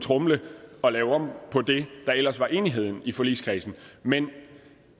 tromle og lave om på det der ellers var enighed om i forligskredsen men